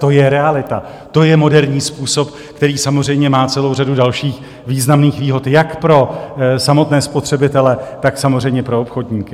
To je realita, to je moderní způsob, který samozřejmě má celou řadu dalších významných výhod jak pro samotné spotřebitele, tak samozřejmě pro obchodníky.